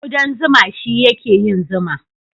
Kuɗan zuma shi ya ke yin zuma